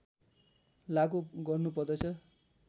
लागू गर्नुपर्दछ